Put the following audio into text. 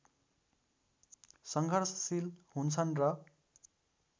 सङ्घर्षशील हुन्छन् र